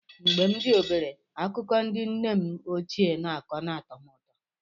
Mgbe m dị obere, akụkọ ndị nne m ochie na-akọ na-atọ m ụtọ.